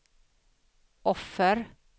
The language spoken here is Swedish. offer